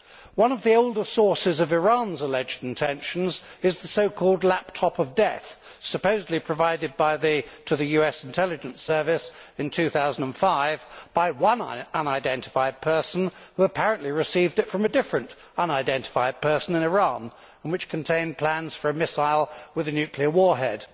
One of the older sources of Iran's alleged intentions is the so called lap top of death', supposedly provided to the US intelligence service in 2005 by one unidentified person, who apparently received it from a different unidentified person in Iran, and which contained plans for a missile with a nuclear warhead.